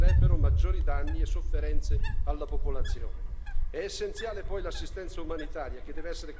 Non ci sono né vi possono essere altre opzioni perché causerebbero maggiori danni e sofferenze alla popolazione.